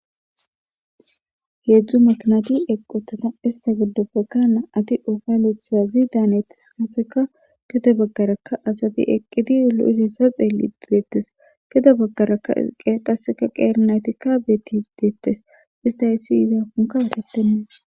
Heedzdzu maknati equthata ista giddo bekka na7ati ofa luthazi daanetis kaseka keda baggarakka asati eqqidi lo7is hessa xeelli dieettes kede baggarakaqqasseka qeernaytikka beeti deettes ista issi yizakunka wutettennee.